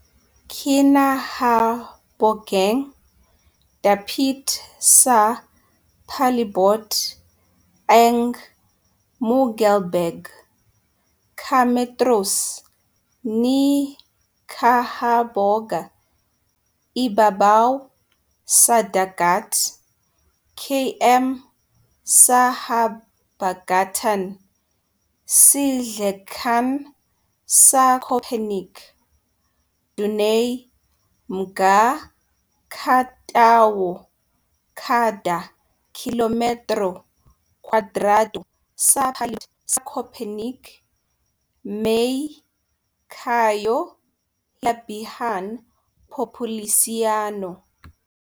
Kinahabogang dapit sa palibot ang Müggelberge, ka metros ni kahaboga ibabaw sa dagat, km sa habagatan-sidlakan sa Köpenick. Dunay mga ka tawo kada kilometro kwadrado sa palibot sa Köpenick may kaayo hilabihan populasyon..